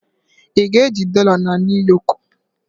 Ị ga-eji dọla na New Yọk?